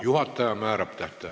Juhataja määrab tähtaja.